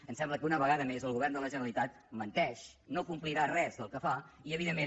em sembla que una vegada més el govern de la generalitat menteix no complirà res del que fa i evidentment